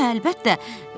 Hə, əlbəttə.